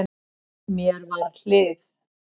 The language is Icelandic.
Mér við hlið